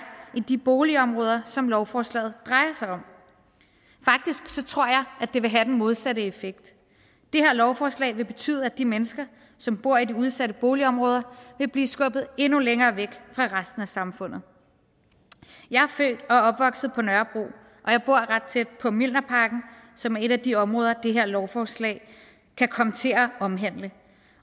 i de boligområder som lovforslaget drejer sig om faktisk tror jeg det vil have den modsatte effekt det her lovforslag vil betyde at de mennesker som bor i de udsatte boligområder vil blive skubbet endnu længere væk fra resten af samfundet jeg er født og opvokset på nørrebro og jeg bor ret tæt på mjølnerparken som er et af de områder som det her lovforslag kan komme til at omhandle